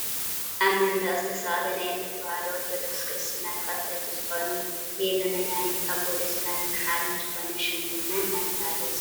ኣብ መንደቅ ዝተሰቀለ ናይ እምነት ተወህዶ ኦርቶዶክስ ክርስትና ተከተልቲ ዝኮኑ ቤዜ መድሓኒት ኣቦ ደስታን ምሓርን ዝኮነ ሸሙ መን እናተባህለ ይፅዋዕ?